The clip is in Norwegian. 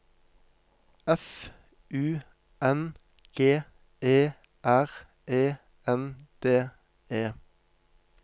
F U N G E R E N D E